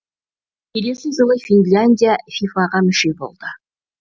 келесі жылы финляндия фифа ға мүше болды